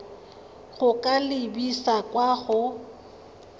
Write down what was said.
go ka lebisa kwa go